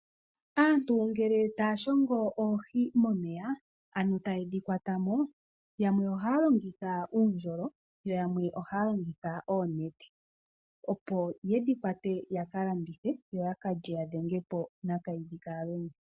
Aantu ngele taya shongola oohi momeya ano tayedhi kwata mo yamwe ohaya longitha uundjolo, yo yamwe ohaya longitha oonete opo yedhi kwate yaka landithe yo yaka lye yadhenge po nakayidhikalwenya.